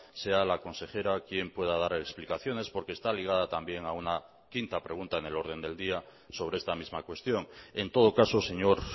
sea la consejera quien pueda dar explicaciones porque está ligada también a una quinta pregunta en el orden del día sobre esta misma cuestión en todo caso señor